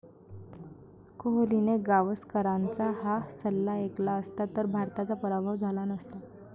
कोहलीने गावस्करांचा 'हा' सल्ला ऐकला असता तर भारताचा पराभव झाला नसता